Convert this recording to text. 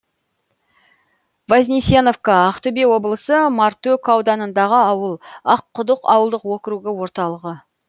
вознесеновка ақтөбе облысы мартөк ауданындағы ауыл аққұдық ауылдық округі орталығы